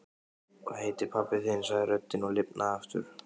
Hvað heitir pabbi þinn? sagði röddin og lifnaði aftur.